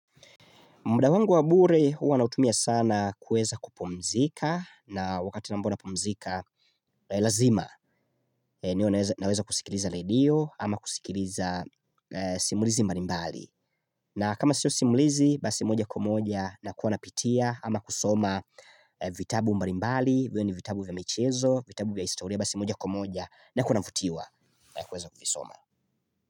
Muda wangu wa bure huwa nautumia sana kueza kupumzika na wakati ambao napumzika lazima naweza kusikiliza radio ama kusikiliza simulizi mbalimbali na kama sio simulizi basi moja kwa moja nakuwa napitia ama kusoma vitabu mbali mbali viwe ni vitabu vya michezo vitabu vya historia basi moja kwa moja nakuwa navutiwa na kuweza kuvisoma.